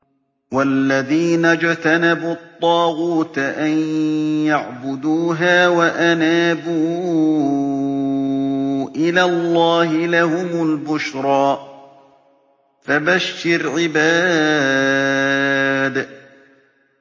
وَالَّذِينَ اجْتَنَبُوا الطَّاغُوتَ أَن يَعْبُدُوهَا وَأَنَابُوا إِلَى اللَّهِ لَهُمُ الْبُشْرَىٰ ۚ فَبَشِّرْ عِبَادِ